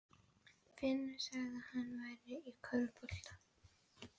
Finnur sagði að hann væri í körfubolta.